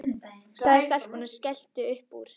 sagði stelpan og skellti upp úr.